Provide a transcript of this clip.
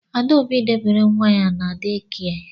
Adaobi debere nwa ya na dee kia